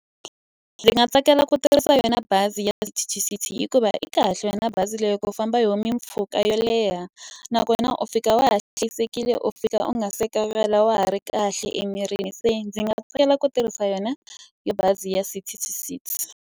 Ndzi nga tsakela ku tirhisa yona bazi ya hikuva yi kahle yona bazi leyi ku famba hi yona mimpfhuka yo leha. Nakona u fika wa ha hlayisekile, u fika u nga se wa ha ri kahle emirini. Se ndzi nga tsakela ku tirhisa yona ya bazi ya City to City.